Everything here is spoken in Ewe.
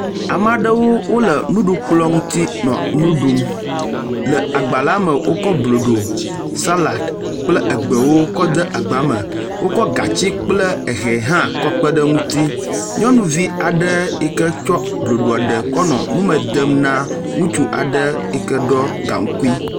Ame aɖewo wo le nuɖukplɔ ŋuti nɔ nu ɖum. Le agba la me wokɔ blodo salad kple egbewo kɔ de agba me. Wokɔ gatsi kple ehɛ hã kɔ kpe ɖe eŋuti. Nyɔnuvi aɖe yi ke tsɔ blodo kɔ le nume dem na ŋutsu aɖe yi ke ɖɔ gaŋkui.